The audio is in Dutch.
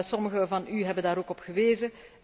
Sommigen van u hebben daar ook op gewezen.